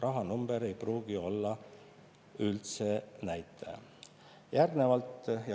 Rahanumber ei pruugi olla üldse näitaja.